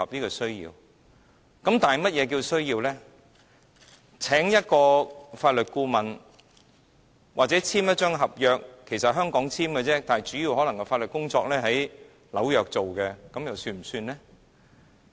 例如要簽訂一份合約，須聘請一位法律顧問——合約在香港簽訂，主要法律工作在紐約進行，這樣算不算呢？